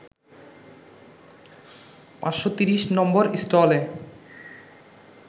৫৩০ number স্টলে